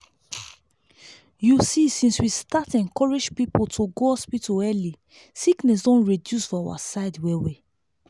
you see since we start encourage people to go hospital early sickness don reduce for our side well well.